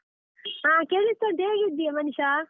ಹಾ ಕೇಳಿಸ್ತುಂಟು, ಹೇಗಿದ್ದೀಯಾ ಮನೀಷಾ?